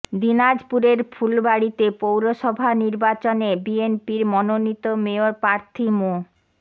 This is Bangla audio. দিনাজপুরের ফুলবাড়ীতে পৌরসভা নির্বাচনে বিএনপির মনোনীত মেয়র প্রার্থী মো